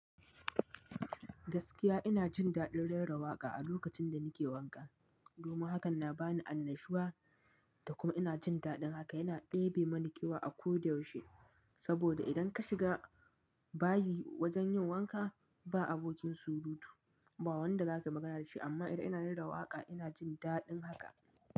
Gaskiya ina jin daɗin rera waƙa a lokacin da nake wanka. Domin hakan na bani annashuwa da kuma ina jin daɗin haka. Yana ɗebe mani kewa a ko da yaushe. Saboda idan ka shiga bayi wajen yin wanka ba abokin surutu, ba wanda zaka magana da shi. Amma idan ina rera waƙa ina jin daɗin haka.